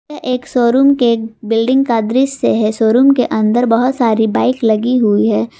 यह एक शोरूम के बिल्डिंग का दृश्य है शोरूम के अंदर बहुत सारी बाइक लगी हुई है।